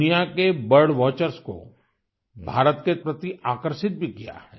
दुनिया के bird watchers को भारत के प्रति आकर्षित भी किया है